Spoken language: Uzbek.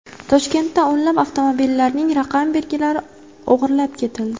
Toshkentda o‘nlab avtomobillarning raqam belgilari o‘g‘irlab ketildi.